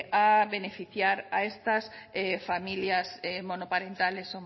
a beneficiar a estas familias monoparentales